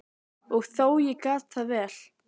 Og þó, ég gat það vel.